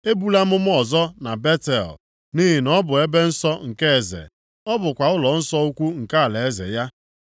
Ebula amụma ọzọ na Betel, nʼihi na ọ bụ ebe nsọ nke eze, ọ bụkwa ụlọnsọ ukwu nke alaeze ya.”